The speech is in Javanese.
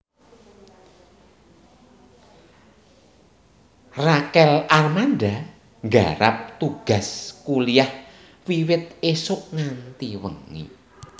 Rachel Amanda nggarap tugas kuliah wiwit isuk nganti wengi